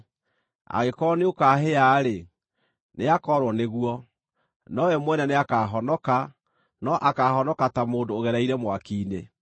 Angĩkorwo nĩũkahĩa-rĩ, nĩakoorwo nĩguo; nowe mwene nĩakahonoka, no akaahonoka ta mũndũ ũgereire mwaki-inĩ.